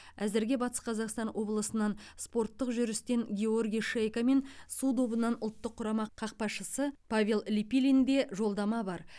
әзірге батыс қазақстан облысынан спорттық жүрістен георгий шейко мен су добынан ұлттық құрама қақпашысы павел липилинде жолдама бар